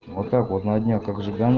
вот так вот на днях как жигане